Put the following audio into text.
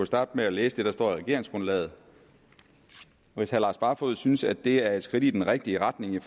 starte med at læse det der står i regeringsgrundlaget hvis herre lars barfoed synes at det er et skridt i den rigtige retning i